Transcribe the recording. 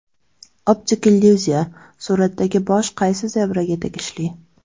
Optik illyuziya: Suratdagi bosh qaysi zebraga tegishli?.